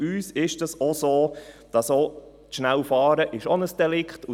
Denn für uns ist es so, dass auch zu schnelles Fahren ein Delikt ist.